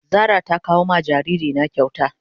Zara ta kawo ma jariri na kyauta.